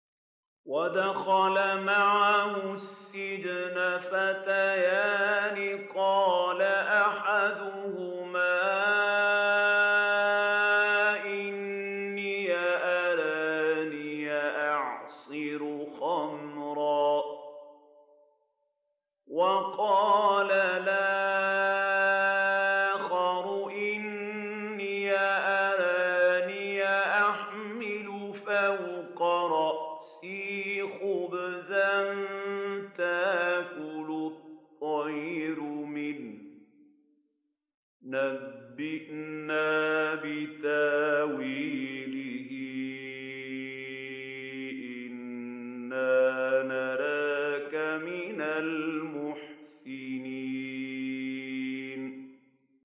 وَدَخَلَ مَعَهُ السِّجْنَ فَتَيَانِ ۖ قَالَ أَحَدُهُمَا إِنِّي أَرَانِي أَعْصِرُ خَمْرًا ۖ وَقَالَ الْآخَرُ إِنِّي أَرَانِي أَحْمِلُ فَوْقَ رَأْسِي خُبْزًا تَأْكُلُ الطَّيْرُ مِنْهُ ۖ نَبِّئْنَا بِتَأْوِيلِهِ ۖ إِنَّا نَرَاكَ مِنَ الْمُحْسِنِينَ